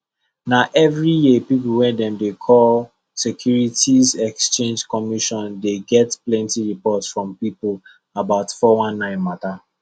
na every year people wey dem dey call securities exchange commission dey get plenty report from people about 419 matter